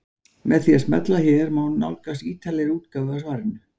Með því að smella hér má nálgast ítarlegri útgáfu af svarinu.